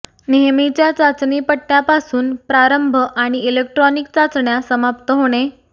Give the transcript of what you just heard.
नेहमीच्या चाचणी पट्ट्यांपासून प्रारंभ आणि इलेक्ट्रॉनिक चाचण्या समाप्त होणे